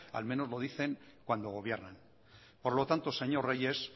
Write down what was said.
al menos lo dicen cuando gobiernan por lo tanto señor reyes